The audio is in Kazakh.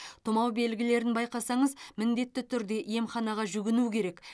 тұмау белгілерін байқасаңыз міндетті түрде емханаға жүгіну керек